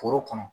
Foro kɔnɔ